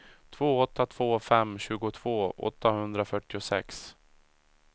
två åtta två fem tjugotvå åttahundrafyrtiosex